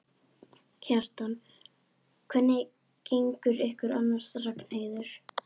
Kjartan: Hvernig gengur ykkur annars, Ragnheiður?